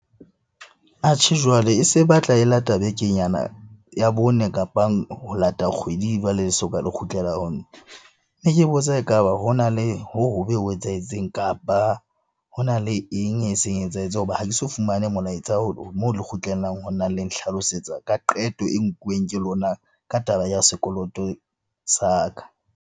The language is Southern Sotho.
Atjhe, jwale e se batla e lata bekenyana ya bone kapang ho lata kgwedi jwale soka le kgutlela ho nna. Ne ke botsa e ka ba ho na le ho etsahetseng eng? Kapa ho na le eng eseng e etsahetse hoba ha ke so fumane molaetsa moo le kgutlelang ho nna le nhlalosetsa ka qeto e nkuweng ke lona ka taba ya sekoloto sa ka.